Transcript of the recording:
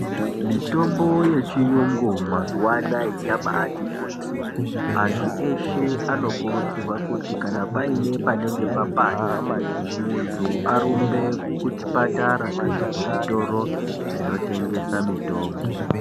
Mitombo yechiyungu mazuwa anaya yabaati kuti. Antu weshe anokurudzirwa kuti kana paine panenge papanda munhu arumbe kuchipatara kana kuzvitoro zvinotengesa mitombo.